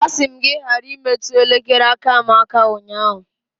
A sị m gị ka ị ghara imetụ elekere aka m aka ụnyahụ.